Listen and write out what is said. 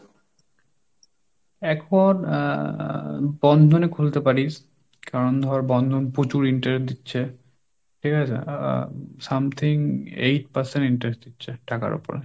এখন আহ বন্ধনে খুলতে পারিস, কারণ ধর বন্ধন প্রচুর interest দিচ্ছে ঠিক আছে? আহ something eight percent interest দিচ্ছে টাকার ওপরে।